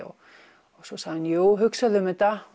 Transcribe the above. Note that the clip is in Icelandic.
svo sagði hún jú hugsaðu um þetta